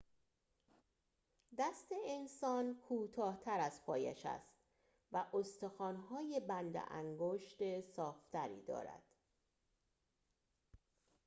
دست انسان کوتاه‌تر از پایش است و استخوان‌های بند انگشت صاف‌تری دارد